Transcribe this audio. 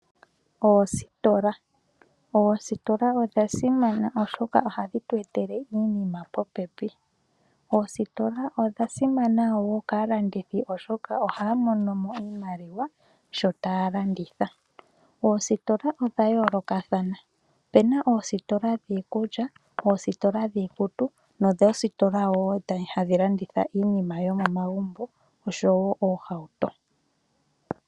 Oositola, oositola odha simana oshoka ohadhi tu etele iinima popepi. Oositola odha simana wo kalandithi oshoka oha mono mo iimaliwa shota landitha. Ositola odha yolokathana. Opena ositola dhimwe dhikulya, dhikutu nositolawo hadhi landitha iinima yomomagumbo oshowo oohauto